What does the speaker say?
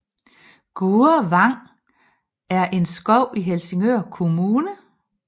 Gurre Vang er en skov i Helsingør Kommune